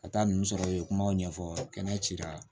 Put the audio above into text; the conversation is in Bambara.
Ka taa ninnu sɔrɔ u ye kumaw ɲɛfɔ kɛnɛ ci